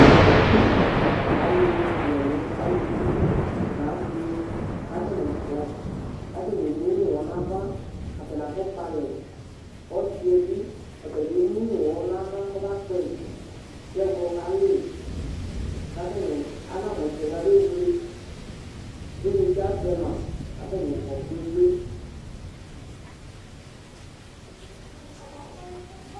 Ăḷʊ wʊ ɛlʊ alʊʋɩ nă asɩ Ka atani kɔ Ka atzni émʊnʊ ʊwɔ na ava Atani aƒɔ kpalɛ Ɔsɩɛbɩ ɔtabɩ ɔta bié mʊnụ ʊwɔ na ava kɔ ba kpɛyɩ, kɛ ɛwḷɔ kalɩ Ka atani ana mụ ɛsɛ kamé wlué Ɩyniti aʒɛ ma Ka atani kɔ gbégbé